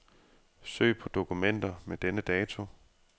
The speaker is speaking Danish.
Søg på dokumenter med denne dato.